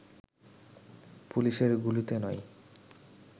পুলিশের গুলিতে নয়